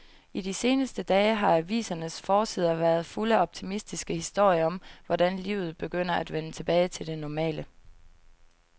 I de seneste dage har avisernes forsider været fulde af optimistiske historier om, hvordan livet begynder at vende tilbage til det normale.